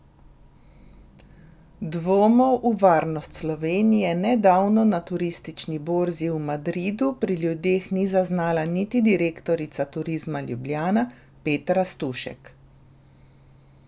Dvomov v varnost Slovenije nedavno na turistični borzi v Madridu pri ljudeh ni zaznala niti direktorica Turizma Ljubljana Petra Stušek.